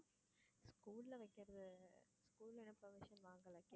school ல வைக்கிறது school ல எல்லாம் permission வாங்கலை.